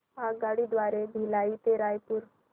आगगाडी द्वारे भिलाई ते रायपुर